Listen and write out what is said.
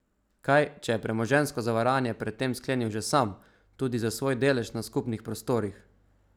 Kaj, če je premoženjsko zavarovanje pred tem sklenil že sam, tudi za svoj delež na skupnih prostorih?